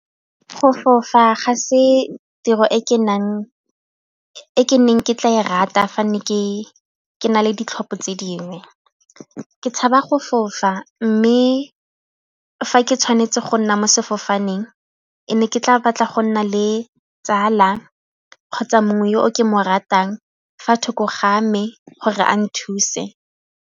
Go fofa ga se tiro e ke neng ke tla e rata fa ne ke na le ditlhopho tse dingwe. Ke tshaba go fofa mme fa ke tshwanetse go nna mo sefofaneng e ne ke tla batla go nna le tsala kgotsa mongwe yo o ke mo ratang fa thoko ga me gore a nthuse.